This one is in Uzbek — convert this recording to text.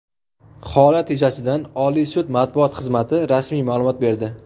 Holat yuzasidan Oliy sud matbuot xizmati rasmiy ma’lumot berdi.